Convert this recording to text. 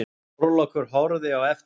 Þorlákur horfði á eftir þeim.